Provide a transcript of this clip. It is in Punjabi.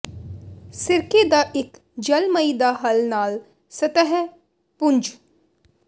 ਸਿਰਕੇ ਦਾ ਇੱਕ ਜਲਮਈ ਦਾ ਹੱਲ ਨਾਲ ਸਤਹ ਪੂੰਝ